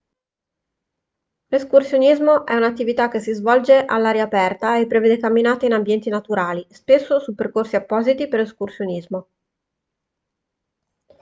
l'escursionismo è un'attività che si svolge all'aria aperta e prevede camminate in ambienti naturali spesso su percorsi appositi per escursionismo